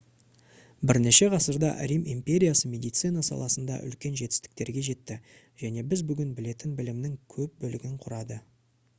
бірнеше ғасырда рим империясы медицина саласында үлкен жетістіктерге жетті және біз бүгін білетін білімнің көп бөлігін құрады